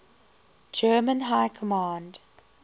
german high command